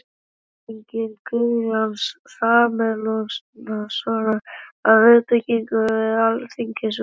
Teikning Guðjóns Samúelssonar af viðbyggingu við Alþingishúsið í þágu Háskólans.